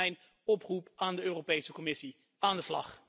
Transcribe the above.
Dat is dan ook mijn oproep aan de Europese Commissie aan de slag!